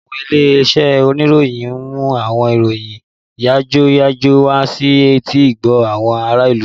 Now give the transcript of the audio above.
Àwọn ilé-iṣẹ́ oníròyìn ń mú àwọn ìròyìn yàjóyàjó wá sí etí-ìgbọ́ àwọn ará ìlú